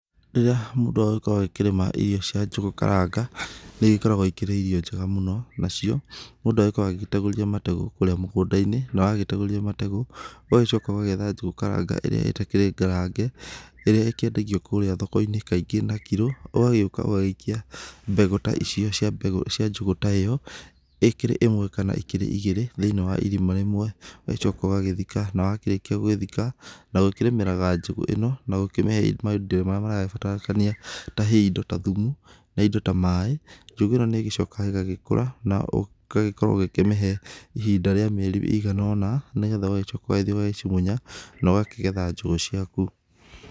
Rĩrĩa mũndũ aragĩkorwo akĩrĩma irio cia njũgũ karanga, nĩ igĩkoragwo ikĩrĩ irio njega mũno. Na cio mũndũ agĩkoragwo agĩtegũrithia mategũ kũrĩa mũgũnda-inĩ, na wategũrithia mategũ ũgagĩcoka ũgetha njũgũ karanga ĩrĩa ĩtakĩrĩ ngarange, ĩrĩa ikĩendagio kũrĩa thoko-inĩ kaingĩ na kiro. Ũgagĩũka ũgagĩikia mbegũ ta icio cia mbegũ cia njũgũ ta ĩyo, ĩkírĩ ta ĩmwe kana ikĩrĩ igĩrĩ thĩinĩ wa irima rĩmwe. Ugacoka ũgagĩthika, na warĩkia gũgĩthika, na gũkĩrĩmĩra njũgũ ĩno ,na kũmĩheaga maindo marĩa maragĩbatarania. He indo ta thumu, he indo ta maĩ, njũgũ ĩno nĩcokaga ĩgagĩkũra na ũgakorwo ũkĩmĩhe ihinda rĩa mĩeri ĩigana ũna, nĩgetha ũgagĩthiĩ ũgacimunya na ũgakĩgetha njũgũ ciaku.